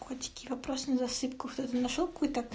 хотите вопрос на засыпку кто нибудь нашёл какую то